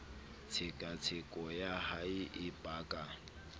tshekatsheko ya hae e paka